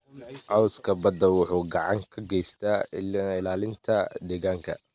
Cawska badda wuxuu gacan ka geystaa ilaalinta deegaanka.